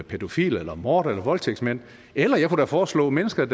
pædofile eller mordere eller voldtægtsmand eller jeg kunne da foreslå mennesker